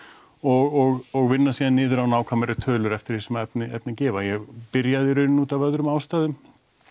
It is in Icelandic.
og og vinna síðan niður á nákvæmari tölur eftir því sem efni efni gefa ég byrjaði í rauninni af öðrum ástæðum